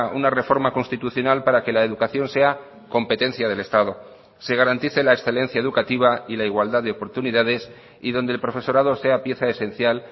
una reforma constitucional para que la educación sea competencia del estado se garantice la excelencia educativa y la igualdad de oportunidades y donde el profesorado sea pieza esencial